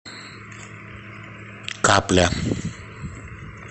капля